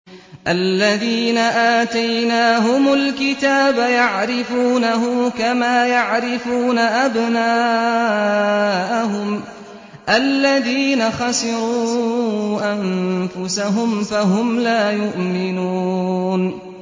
الَّذِينَ آتَيْنَاهُمُ الْكِتَابَ يَعْرِفُونَهُ كَمَا يَعْرِفُونَ أَبْنَاءَهُمُ ۘ الَّذِينَ خَسِرُوا أَنفُسَهُمْ فَهُمْ لَا يُؤْمِنُونَ